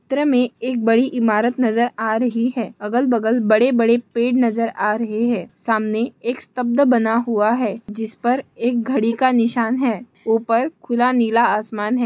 चित्र मे एक बड़ी इमारत नजर आ रही है अगल बगल बड़े बड़े पेड़ नजर आ रहे है सामने एक स्तब्ध बना हुआ है जिसपर एक घड़ी का निशान है ऊपर खुला नीला आसमान है।